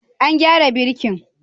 An gyara birkin?